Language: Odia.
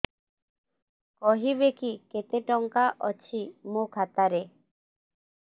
କହିବେକି କେତେ ଟଙ୍କା ଅଛି ମୋ ଖାତା ରେ